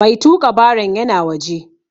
Mai tuƙa baron yana waje.